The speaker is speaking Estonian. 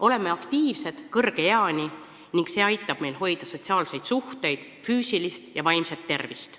Oleme aktiivsed kõrge eani ning see aitab meil hoida sotsiaalseid suhteid, füüsilist ja vaimset tervist.